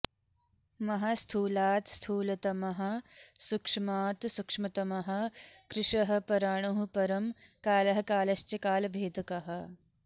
महास्थूलात् स्थूलतमः सूक्ष्मात् सूक्ष्मतमः कृशः पराणुः परमः कालः कालश्च कालभेदकः